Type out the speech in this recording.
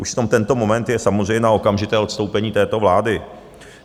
Už v tom - tento moment je samozřejmě na okamžité odstoupení této vlády.